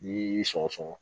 Ni y'i sɔgɔsɔgɔ